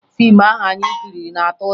Fiimu ahụ anyị kiriri na-atụ ụjọ